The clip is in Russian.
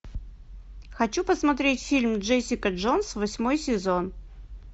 хочу посмотреть фильм джессика джонс восьмой сезон